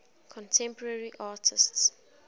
contemporary artists